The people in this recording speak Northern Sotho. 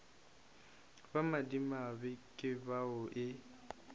ba madimabe ke bao e